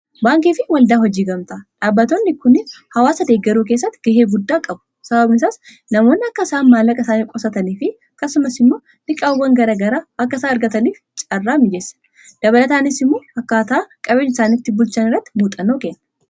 Baankiifi waldaa hojii gamtaa; Dhaabbatoonni kun hawaasa deegaruu keessatti ga'ee guddaa qabu. Sababni isaas namoonni akka isaan maallaqa isaanii qusataniifi akkasumas immoo liqiiwwan garaa garaa akka isaan argataniif caarraa mijessa. Dabalataanis immoo akkaataa qabeenya isaanii itti bulchan irratti muuxxannoo kenna.